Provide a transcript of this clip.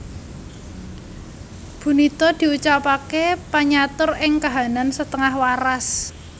Bunito diucapaké panyatur ing kahanan setengah waras